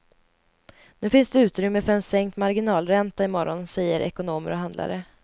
Nu finns det utrymme för en sänkt marginalränta i morgon, säger ekonomer och handlare.